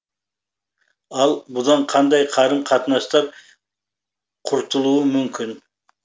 ал бұдан қандай қарым қатынастар құртылуы мүмкін